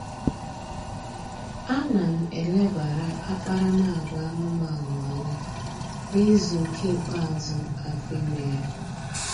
A na m elebara akparamagwa anụmanụ anya n'izu nke ikpeazụ afọ ime ya